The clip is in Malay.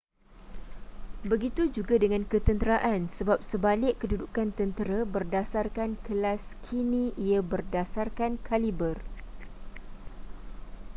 begitu juga dengan ketenteraan sebab sebalik kedudukan tentera berdasarkan kelas kini ia berdasarkan kaliber